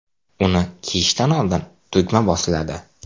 Uni kiyishdan oldin tugma bosiladi.